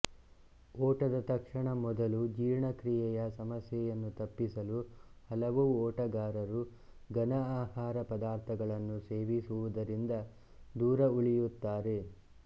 ಓಟದ ತಕ್ಷಣದ ಮೊದಲು ಜೀರ್ಣಕ್ರಿಯೆಯ ಸಮಸ್ಯೆಯನ್ನು ತಪ್ಪಿಸಲು ಹಲವು ಓಟಗಾರರು ಘನ ಆಹಾರ ಪದಾರ್ಥಗಳನ್ನು ಸೇವಿಸುವುದರಿಂದ ದೂರವುಳಿಯುತ್ತಾರೆ